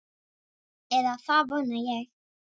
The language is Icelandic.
Eða það vona ég